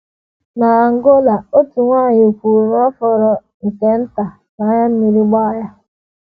N’Angola, otu nwanyị kwuru na ọ fọrọ nke nta ka anya mmiri gbaa ya.